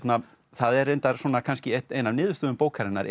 það er reyndar kannski ein af niðurstöðum bókarinnar